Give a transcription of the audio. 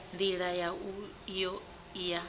ndila yau iyo i ya